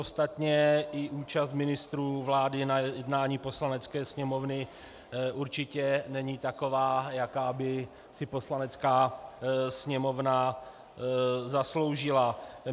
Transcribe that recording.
Ostatně i účast ministrů vlády na jednání Poslanecké sněmovny určitě není taková, jako by si Poslanecká sněmovna zasloužila.